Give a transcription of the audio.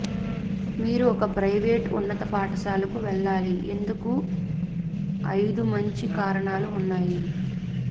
మీరు ఒక ప్రైవేట్ ఉన్నత పాఠశాలకు వెళ్ళాలి ఎందుకు ఐదు మంచి కారణాలు ఉన్నాయి